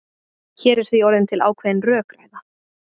Hér er því orðin til ákveðin rökræða.